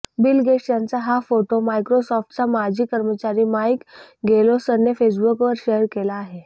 bill Gates यांचा हा photo मायक्रोसॉफ्टचा माजी कर्मचारी माईक गेलोसने फेसबुकवर शेअर केला आहे